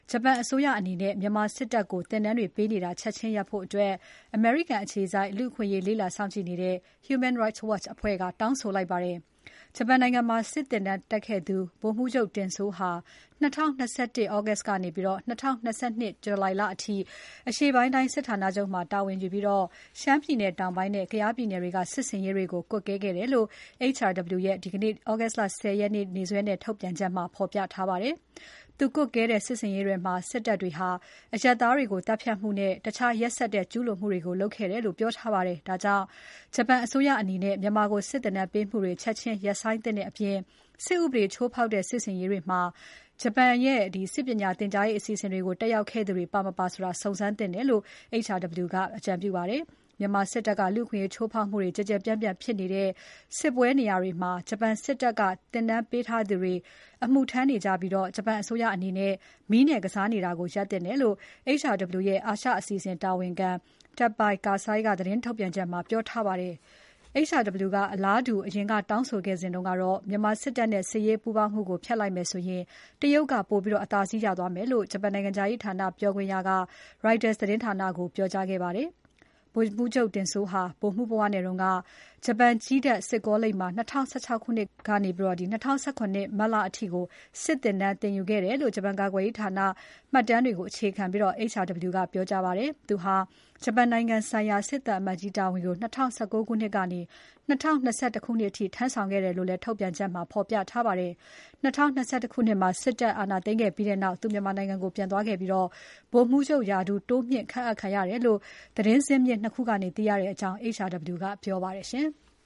ဂျပန်အစိုးရအနေနဲ့ မြန်မာစစ်တပ်ကို သင်တန်းပေးနေတာတွေ ချက်ချင်းရပ်ဖို့ အမေရိကန်အခြေစိုက် လူ့အခွင့်အရေး လေ့လာစောင့်ကြည့်တဲ့ Hunan Rights Watch ကတောင်းဆိုလိုက်ပါတယ်။ ဂျပန်နိုင်ငံမှာ စစ်သင်တန်းတက်ခဲ့သူ ဗိုလ်မှူးချုပ်တင်စိုးဟာ ၂၀၂၁ သြဂုတ်လကနေ ၂၀၂၂ ဇူလိုင်လအထိ အရှေ့ပိုင်းတိုင်းစစ်ဌာနချုပ်မှာ တာဝန်ယူပြီး ရှမ်းပြည်နယ်တောင်ပိုင်းနဲ့ ကယားပြည်နယ်တွေက စစ်ဆင်ရေးတွေကို ကွပ်ကဲခဲ့တယ်လို့ HRW ရဲ့ ဒီနေ့ သြဂုတ်လ ၁၀ ရက်ထုတ်ပြန်ချက်မှာ ဖော်ပြထားပါတယ်။ သူကွပ်ကဲတဲ့ စစ်ဆင်ရေးတွေမှာ စစ်တပ်တွေဟာ အရပ်သားတွေကို သတ်ဖြတ်မှုနဲ့ တခြားရက်စက်တဲ့ ကျုးလွန်မှုတွေကို လုပ်ခဲ့တယ်လို့ ပြောထားပါတယ်။ ဒါကြောင့် ဂျပန်အစိုးရအနေနဲ့ မြန်မာကို စစ်သင်တန်းပေးမှုတွေ ချက်ချင်းရပ်ဆိုင်းသင့်တဲ့အပြင် စစ်ဥပဒေချိုးဖောက်တဲ့ စစ်ဆင်ရေးတွေမှာ ဂျပန်ရဲ့စစ်ပညာသင်ကြားရေးအစီအစဉ်တွေကို တက်ခဲ့သူတွေ ပါ မပါဆိုတာ စုံစမ်းသင့်တယ်လို့ HRW ကပြောပါတယ်။ မြန်မာစစ်တပ်က လူ့အခွင့်အရေးချိုးဖောက်မှုတွေ ကျယ်ကျယ်ပြန့်ပြန့်ဖြစ်နေတဲ့ စစ်ပွဲနေရာတွေမှာ ဂျပန်စစ် တပ်က သင်တန်းပေးထားသူတွေ အမှုထမ်းနေကြပြီး ဂျပန်အစိုးရအနေနဲ့ မီးနဲ့ကစားနေတာကို ရပ်သင့်တယ် လို့ HRW ရဲ့ အာရှအစီအစဉ်တာဝန်ခံံ Teppei Kasai က ထုတ်ပြန်ချက်ထဲမှာ ပြောကြားထားပါတယ်။ HRW က အလားတူ အရင်ကတောင်းဆိုခဲ့တုန်းကတော့ မြန်မာစစ်တပ်နဲ့ စစ်ရေးပူးပေါင်းမှုကို ဖြတ်လိုက်မယ်ဆိုရင် တရုတ်က ပိုအသာစီးရသွားမယ်လို့ ဂျပန်နိုင်ငံခြားရေးဌာနပြောခွင့်ရက Reuters သတင်းဌာနကို ပြောခဲ့ပါတယ်။ ဗိုလ်မှူးချုပ် တင်စိုးဟာ ဗိုလ်မှူးဘဝနဲ့တုန်းက ဂျပန်ကြည်းတပ်စစ်ကောလိပ်မှာ ၂၀၁၆ ခုနှစ် August လကနေ ၂၀၁၇ ခုနှစ် March လအထိ စစ်သင်တန်းသင်ယူခဲ့တယ်လို့ ဂျပန်ကာကွယ်ရေးဝန်ကြီးဌာန မှတ်တမ်းတွေကို အခြေခံပြီး HRW ကပြောကြားထားပါတယ်။ သူဟာ ဂျပန်နိုင်ငံဆိုင်ရာ စစ်သံအမတ်ကြီးတာဝန်ကို ၂၀၁၉ ခုနှစ်ကနေ ၂၀၂၁ ခုနှစ်အထိ ထမ်းဆောင်ခဲ့တယ်လို့လည်း ထုတ်ပြန်ချက်မှာ ဖော်ပြထားပါတယ်။ ၂၀၂၁ ခုနှစ်မှာ စစ်အာဏာသိမ်းခဲ့ပြီးနောက် သူမြန်မာနိုင်ငံကို ပြန်သွားခဲ့ပြီး ဗိုလ်မှူးချုပ်ရာထူး တိုးမြှင့် ခန့်အပ်ခံရတယ်လို့လည်း သတင်းဇစ်မြစ် ၂ ခုကနေ သိရတယ်လို့ HRW ကပြောပါတယ်။